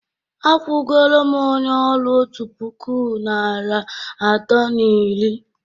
akwụgoro m onye ọrụ otu puku naịra atọ na iri